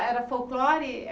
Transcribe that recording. Era folclore?